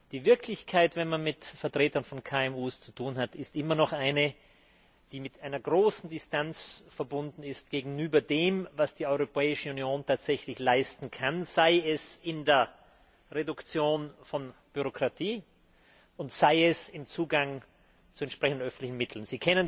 Die Wirklichkeit wenn man mit Vertretern von KMU zu tun hat ist immer noch eine, die mit einer großen Distanz verbunden ist gegenüber dem, was die Europäische Union tatsächlich leisten kann, sei es in der Reduktion von Bürokratie und sei es im Zugang zu entsprechenden öffentlichen Mitteln.